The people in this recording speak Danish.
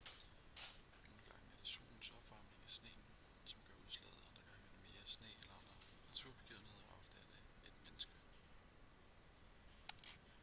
nogle gange er det solens opvarmning af sneen som gør udslaget andre gange er det mere sne eller andre naturbegivenheder og ofte er det et menneske